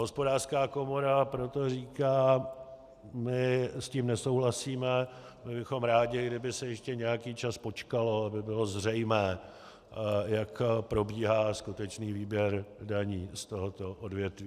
Hospodářská komora proto říká: my s tím nesouhlasíme, byli bychom rádi, kdyby se ještě nějaký čas počkalo, aby bylo zřejmé, jak probíhá skutečný výběr daní z tohoto odvětví.